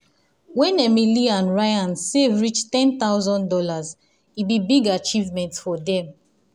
when emily and ryan save reach one thousand dollars0 e be big achievement for them.